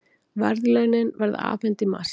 Verðlaunin verða afhent í mars